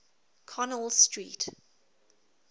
connell street